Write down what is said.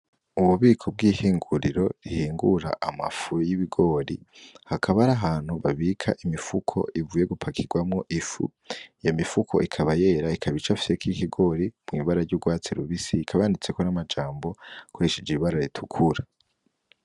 Ububiko bw'ihunguriro rihingura amafu y'ibigori, hakaba ari ahantu babika imifuko ivuye gupakirwamwo ifu, iyo mifuko ikaba yera ikaba icafyeko ikigori mw'ibara ry'urwatsi rubisi ikaba yanditseko n'amajambo akoresheje ibara ritukura.